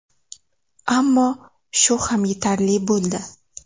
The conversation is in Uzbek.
Ammo shu ham yetarli bo‘ldi.